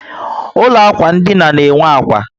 Ụlọ ákwà ndina na enwe ákwà